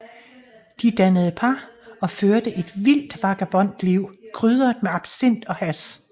De dannede par og førte et vildt vagabondliv krydret med absint og hash